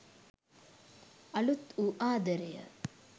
අලුත් වූ ආදරය